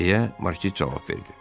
deyə Markiz cavab verdi.